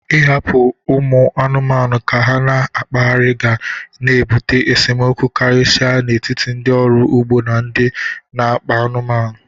Ị hapụ ụmụ anụmanụ ka ha na-akpaghari ga na-ebụte esemokwu karịsịcha n'etiti ndị ọrụ ugbo na ndị n'akpa anụmanụ.